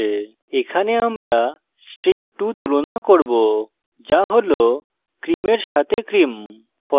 এখানে আমরা string2 2 তুলনা করব যা হল cream in সাথে cream